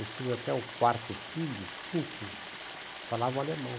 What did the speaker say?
Os filhos, até o quarto filho, quinto, falavam alemão.